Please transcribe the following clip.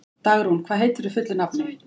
Dagrún, hvað heitir þú fullu nafni?